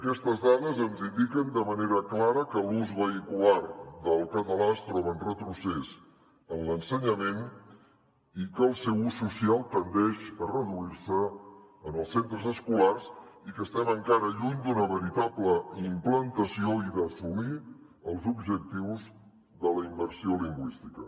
aquestes dades ens indiquen de manera clara que l’ús vehicular del català es troba en retrocés en l’ensenyament i que el seu ús social tendeix a reduir se en els centres escolars i que estem encara lluny d’una veritable implantació i d’assolir els objectius de la immersió lingüística